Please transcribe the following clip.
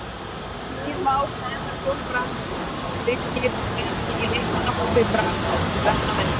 Birkir Már Sævarsson, Brann Birkir var ekki í leikmannahópi Brann vegna meiðsla.